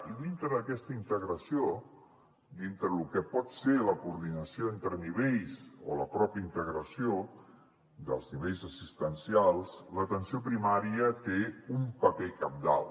i dintre d’aquesta integració dintre de lo que pot ser la coordinació entre nivells o la pròpia integració dels nivells assistencials l’atenció hi primària té un paper cabdal